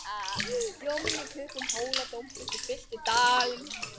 Hljómurinn í klukkum Hóladómkirkju fyllti dalinn.